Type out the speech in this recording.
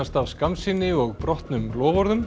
af skammsýni og brotnum loforðum